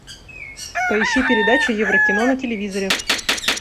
поищи передачу еврокино на телевизоре